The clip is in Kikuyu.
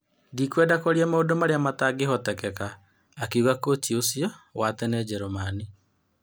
" Ndikwenda kwaria maũndũ marĩa matangĩhotekeka", akiuga kũci ũcio wa tene Njeremani.